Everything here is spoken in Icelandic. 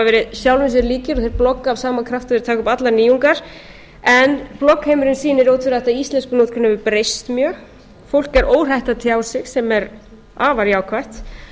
verið sjálfum sér líkir og þeir blogga af sama krafti og þeir taka upp allar nýjungar en bloggheimurinn sýnir ótvírætt að íslenskunotkun hefur breyst mjög fólk er óhrætt að tjá sig sem er afar jákvætt